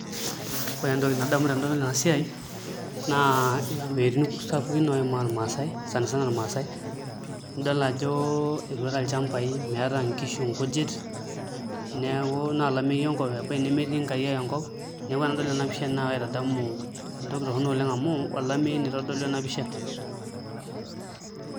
Ore entoki nadamu tenadol ena siai naa ilameyutin sapukin oimaa irmaasai sani sana irmaasai nidol ajo etuata ilchambai meeta nksihu nkujit neeku na olameyu enkop ebaiki nemetii nkariak enkop neeku enadol ena pisha naa akaitadamu entoki torrono oleng' amu olameyu naa itodolu ena pisha.